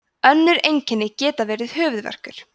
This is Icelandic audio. önnur einkenni geta verið höfuðverkur